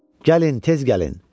Gəlin, tez gəlin.